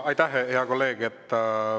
Aitäh, hea kolleeg!